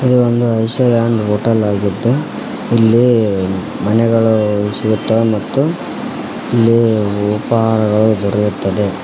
ಈ ಒಂದು island hotel ಆಗಿದ್ದು ಇಲ್ಲಿ ಮನೆಗಳು ಸಿಗುತ್ತವೆ ಮತ್ತು ಇಲ್ಲಿ ಉಪಹಾರಗಳು ದೊರೆಯುತ್ತದೆ.